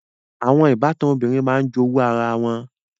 Àwọn ìbátan obìnrin máa ń jowú ara wọn